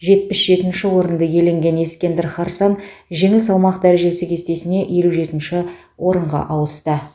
жетпіс жетінші орынды иеленген ескендір харсан жеңіл салмақ дәрежесі кестесіне елу жетінші орынға ауысты